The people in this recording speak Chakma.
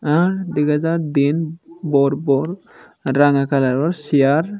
ahhe dw din bor bor ranga color or chair.